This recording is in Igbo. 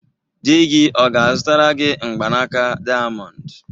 Di gị ọ ga-azụtara gị mgbanaka dayamondu?